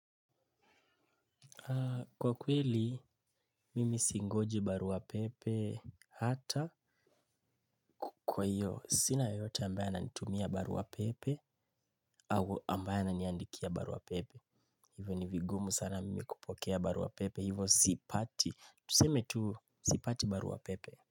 Kwa kweli, mimi singoji barua pepe hata kwa hiyo. Sina yoyote ambaye ananitumia barua pepe au ambaye ananiandikia barua pepe. Hivyo ni vigumu sana mimi kupokea barua pepe. Hivyo sipati. Tuseme tu sipati barua pepe.